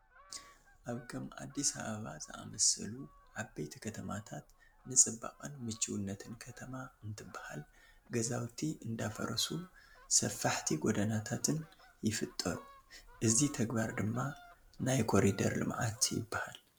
ኣብ ከም ኣዲስ ኣባባ ዝኣምሰሉ ዓበይቲ ከተማታት ንፅባቐን ምችውነትን ከተማ እንትበሃል ገዛውቲ እንዳፈረሱ ሰፋሕቲ ጐደናታትን ይፍጠሩ፡፡ እዚ ተግባር ድማ ናይ ኮሪደር ልምዓት ይበሃል፡፡